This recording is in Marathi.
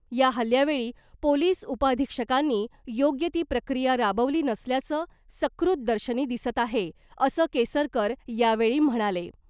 या हल्ल्यावेळी पोलीस उपअधिक्षकांनी योग्य ती प्रक्रिया राबवली नसल्याचं सकृत दर्शनी दिसत आहे , असं केसरकर यावेळी म्हणाले .